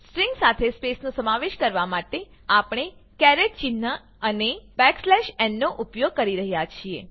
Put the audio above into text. string સાથે સ્પેસનો સમાવેશ કરવા માટે આપણે કેરેટ ચિન્હ અને n નો ઉપયોગ કરી રહ્યા છીએ